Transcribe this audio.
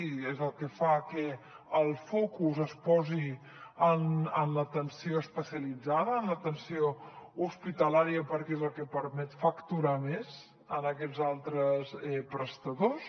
i és el que fa que el focus es posi en l’atenció especialitzada en l’atenció hospitalària perquè és el que permet facturar més a aquests altres prestadors